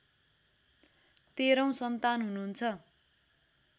तेह्रौं सन्तान हुनुहुन्छ